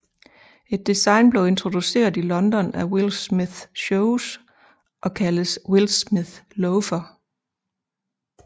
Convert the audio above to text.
Et design blev introduceret i London af Wildsmith Shoes og kaldes Wildsmith Loafer